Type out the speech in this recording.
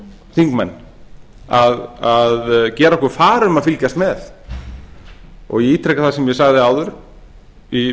þingmenn að gera okkur far um að fylgjast með ég ítreka það sem ég sagði áður í